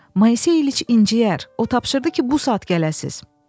Moisey İliç incəyər, o tapşırdı ki, bu saat gələsiniz.